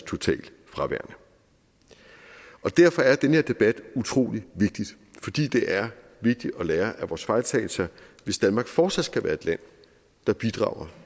totalt fraværende og derfor er den her debat utrolig vigtigt fordi det er vigtigt at lære af vores fejltagelser hvis danmark fortsat skal være et land der bidrager